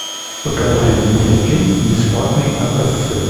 покажи мне фильм бесплатные образцы